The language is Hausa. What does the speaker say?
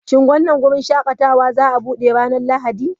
Shin wannan wurin shakatawa za a buɗe ranar Lahadi?